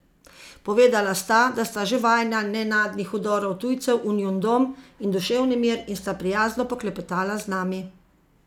Povedala sta, da sta že vajena nenadnih vdorov tujcev v njun dom in duševni mir in sta prijazno poklepetala z nami.